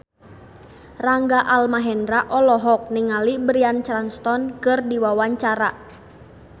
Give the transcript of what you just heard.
Rangga Almahendra olohok ningali Bryan Cranston keur diwawancara